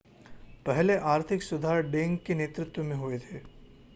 पहले आर्थिक सुधार डेंग के नेतृत्व में हुए थे